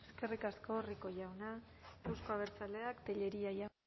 eskerrik asko rico jauna euzko abertzaleak tellería jauna